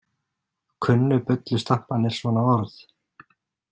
Kunnu bullustamparnir svona orð?